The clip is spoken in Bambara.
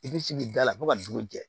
I bɛ sigi da la fo ka dugu jɛ